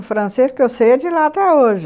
O francês que eu sei é de lá até hoje.